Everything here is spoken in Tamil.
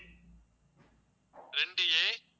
ரெண்டு a